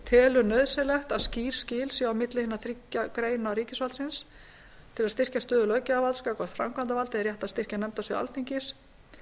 telur nauðsynlegt að skýr skil séu á milli hinna þriggja greina ríkisvaldsins til að styrkja stöðu löggjafarvalds gagnvart framkvæmdarvaldi er rétt að styrkja nefndasvið alþingis